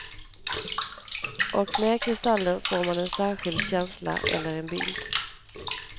Och med kristallen får man en särskild känsla eller en bild.